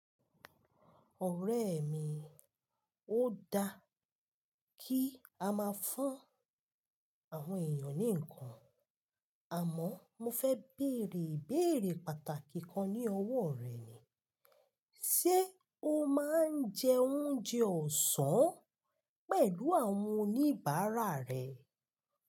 Ọ̀rẹ́ mi, ó dá kí a máa fún àwọn èèyàn ní ǹkan, àmọ́ mo fẹ́ bèèrè ìbéèrè pàtàkì kan ní ọwọ́ rẹ ni, se o máa ń jẹ oúnjẹ ọ̀sán pẹ̀lú àwọn oníbàárà rẹ?